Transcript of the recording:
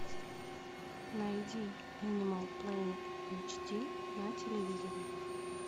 найди энимал плэнет эйч ди на телевизоре